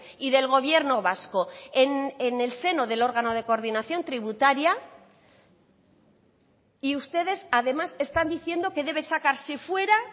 y del gobierno vasco en el seno del órgano de coordinación tributaria y ustedes además están diciendo que debe sacarse fuera